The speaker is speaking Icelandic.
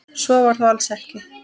Svo var þó alls ekki.